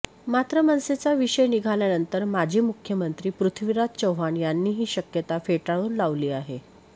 मात्र मनसेचा विषय निघाल्यानंतर माजी मुख्यमंत्री पृथ्वीराज चव्हाण यांनी ही शक्यता फेटाळून लावली आहे